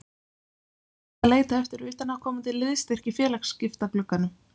En mun Edda leita eftir utanaðkomandi liðsstyrk í félagsskiptaglugganum?